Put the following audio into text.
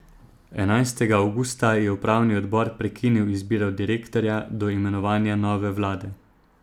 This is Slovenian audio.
Enajstega avgusta je upravni odbor prekinil izbiro direktorja do imenovanja nove vlade.